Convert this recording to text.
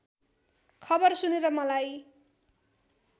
खबर सुनेर मलाई